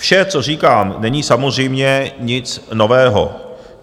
Vše, co říkám, není samozřejmě nic nového.